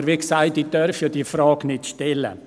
Aber, wie gesagt, ich darf diese Frage ja nicht stellen!